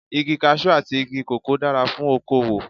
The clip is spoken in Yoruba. Igi Kaṣú àti igi kòkó dára fún okowò.